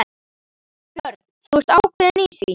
Björn: Þú ert ákveðinn í því?